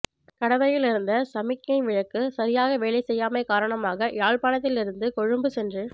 கடவையில் இருந்த சமிக்ஞை விளக்கு சரியாக வேலை செய்யாமை காரணமாக யாழ்ப்பாணத்தில் இருந்து கொழும்பு சென்று